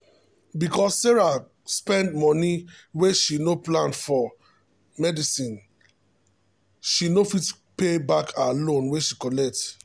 because say sarah spend moni wey she no plan for medicineshe no fit pay back her loan wey she collect.